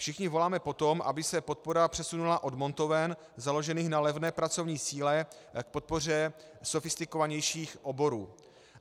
Všichni voláme po tom, aby se podpora přesunula od montoven založených na levné pracovní síle k podpoře sofistikovanějších oborů.